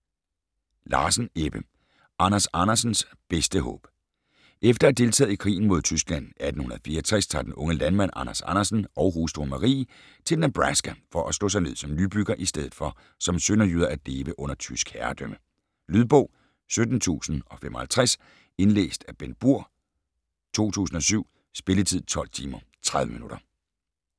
Larsen, Ebbe: Anders Andersens bedste håb Efter at have deltaget i krigen mod Tyskland 1864 tager den unge landmand Anders Andersen og hustruen Marie til Nebraska for at slå sig ned som nybyggere i stedet for som sønderjyder at leve under tysk herredømme. Lydbog 17055 Indlæst af Bengt Burg, 2007. Spilletid: 12 timer, 30 minutter.